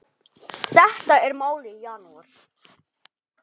Þetta er málið í janúar.